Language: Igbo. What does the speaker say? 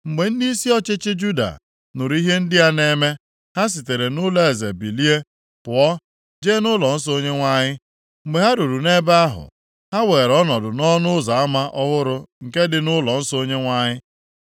Mgbe ndịisi ọchịchị Juda nụrụ ihe ndị a na-eme, ha sitere nʼụlọeze bilie pụọ, jee nʼụlọnsọ Onyenwe anyị. Mgbe ha ruru nʼebe ahụ, ha weere ọnọdụ nʼọnụ ụzọ ama ọhụrụ nke dị nʼụlọnsọ Onyenwe anyị.